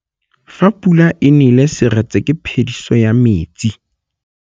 Fa pula e nelê serêtsê ke phêdisô ya metsi.